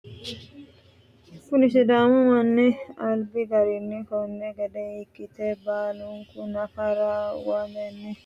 kuni sidaamu manni albi garinni konni gede ikkite baalunku nafara utuwa ikkite ofonltanoha ikkanna, kuni manchi uddire ofo'le nooricho maati yine woshshinanni?